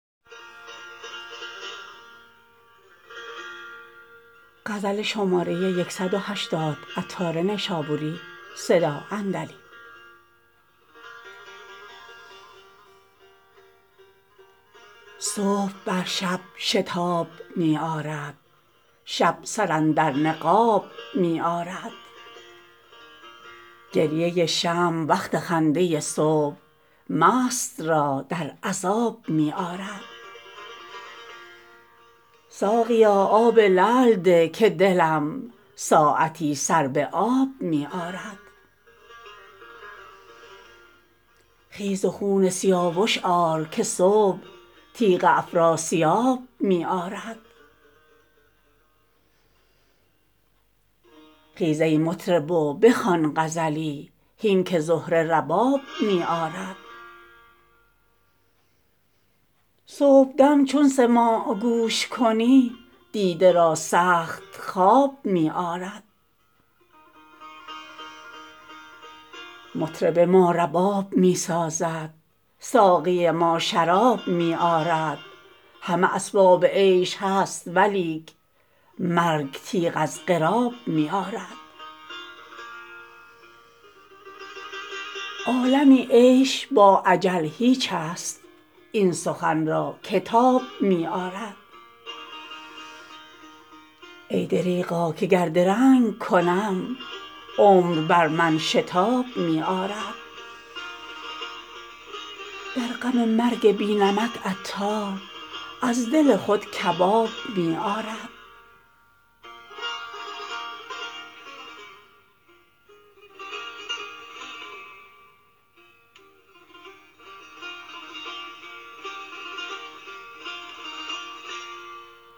صبح بر شب شتاب می آرد شب سر اندر نقاب می آرد گریه شمع وقت خنده صبح مست را در عذاب می آرد ساقیا آب لعل ده که دلم ساعتی سر به آب می آرد خیز و خون سیاوش آر که صبح تیغ افراسیاب می آرد خیز ای مطرب و بخوان غزلی هین که زهره رباب می آرد صبحدم چون سماع گوش کنی دیده را سخت خواب می آرد مطرب ما رباب می سازد ساقی ما شراب می آرد همه اسباب عیش هست ولیک مرگ تیغ از قراب می آرد عالمی عیش با اجل هیچ است این سخن را که تاب می آرد ای دریغا که گر درنگ کنم عمر بر من شتاب می آرد در غم مرگ بی نمک عطار از دل خود کباب می آرد